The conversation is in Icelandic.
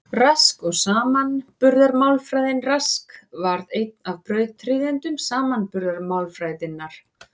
Rask og samanburðarmálfræðin Rask varð einn af brautryðjendum samanburðarmálfræðinnar.